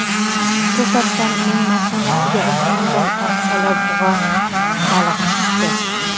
To‘satdan uning mashinasiga osmondan oq olabug‘a balig‘i tushdi.